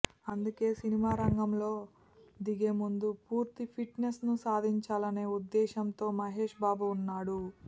అందుకే సినిమా కోసం రంగంలో దిగే ముందు పూర్తి ఫిట్ నెస్ను సాధించాలనే ఉద్దేశ్యంతో మహేష్బాబు ఉన్నాడు